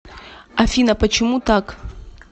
афина почему так